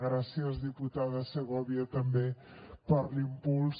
gràcies diputada segovia també per l’impuls